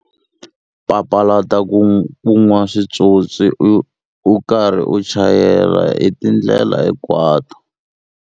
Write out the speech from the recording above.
Papalata ku nwa swipyopyi u karhi u chayela hi tindlela hinkwato.